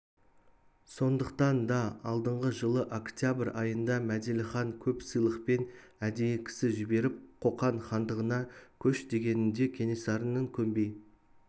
сондықтан да алдыңғы жылы октябрь айында мәделіхан көп сыйлықпен әдейі кісі жіберіп қоқан хандығына көш дегенінде кенесарының көнбей